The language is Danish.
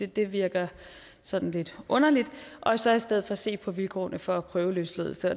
det virker sådan lidt underligt og så i stedet for se på vilkårene for prøveløsladelse